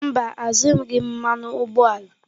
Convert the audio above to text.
Mba, azụghị m mmanụ ụgbọala.